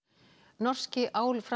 norski